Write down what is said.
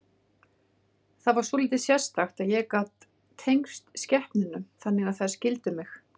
Það var svolítið sérstakt að ég gat tengst skepnunum þannig að þær skildu mig.